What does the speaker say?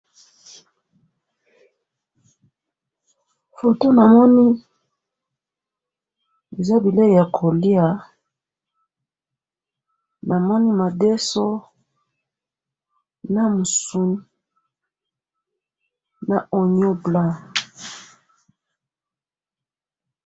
photo na moni eza bileyi yako lia na moni madeso na musuni na onion blanc